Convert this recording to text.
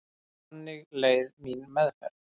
Þannig leið mín meðferð.